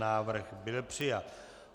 Návrh byl přijat.